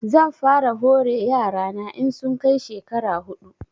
Zan fara hore yara na in sun kai shekara huɗu